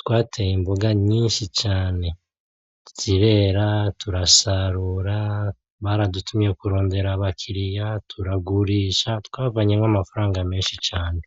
twateye imboga nyinshi cane, zirera turasarura baradutumye kurondera abakiriya turagurisha twabavanyemo amafaranga menshi cane.